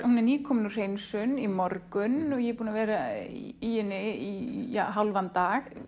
hún er nýkomin úr hreinsun í morgun ég er búin að vera í henni í hálfan dag